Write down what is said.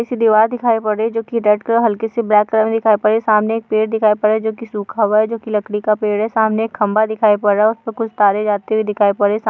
पीछे दीवार दिखाई पड़ रही है जोकि रेड़ कलर हल्की-सी ब्लैक कलर मे दिखाई पड़ रही हैं। सामने एक पेड़ दिखाई पड़ रहा है जो की सूखा हुआ है। जो लकड़ी का पेड़ है। सामने एक खंबा दिखाई पड़ रहा है उसमे कुछ तारे जाते हुए दिखाई पड़ रही है। सा --